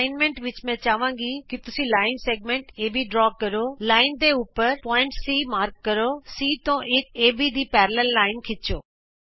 assignment ਵਿਚ ਮੈਂ ਚਾਹਾਂਗੀ ਕਿ ਤੁਸੀਂ ਇਕ ਰੇਖਾ ਦਾ ਵ੍ਰਤ ਖੰਡ ਏਬੀ ਖਿੱਚੋ ਰੇਖਾ ਦੇ ਉਪਰ ਬਿੰਦੂ C ਚਿੰਨ੍ਹਿਤ ਕਰੋ C ਤੇ ਇਕ ਏਬੀ ਦੀ ਸਮਾਂਤਰ ਰੇਖਾ ਖਿੱਚੋ